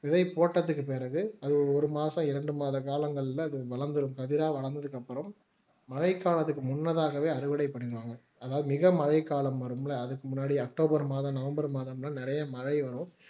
விதை போட்டதுக்கு பிறகு அது ஒரு மாசம் இரண்டு மாத காலங்கள்ல அது வளர்ந்திரும் கதிரா வளர்ந்ததுக்கு அப்புறம் மழைக்காலத்துக்கு முன்னதாகவே அறுவடை பண்ணிடுவாங்க அதாவது மிக மழைக்காலம் வரும் இல்ல அதுக்கு முன்னாடி அக்டோபர் மாதம் நவம்பர் மாதம்னா நிறைய மழை வரும்